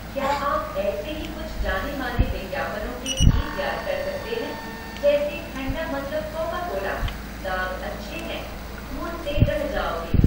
क्या आप ऐसे ही कुछ जाने माने विज्ञापनों के गीत याद कर सकते हैं जैसे ठण्डा मतलब कोका कोला, दाग अच्छे हैं, ढूंढ़ते रह जाओगे।